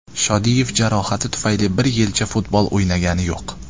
Shodiyev jarohati tufayli bir yilcha futbol o‘ynagani yo‘q.